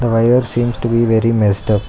wire seems to be very messed up.